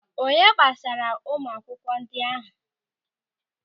Onye gbasaara ụmụ akwụkwọ ndị ahụ.